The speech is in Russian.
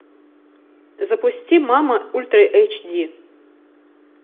запусти мама ультра эйч ди